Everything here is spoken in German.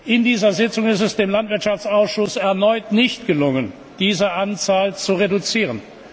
In dieser Sitzung ist es dem Landwirtschaftsausschuss erneut nicht gelungen, diese Anzahl zu reduzieren.